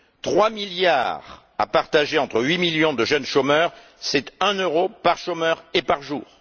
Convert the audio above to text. Trois milliards à partager entre huit millions de jeunes chômeurs, c'est un euro par chômeur et par jour!